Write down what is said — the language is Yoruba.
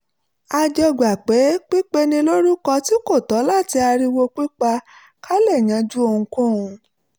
a jọ gbà pé pípeni lórúkọ tí kò tọ́ àti ariwo pípa kò lè yanjú ohunkóhun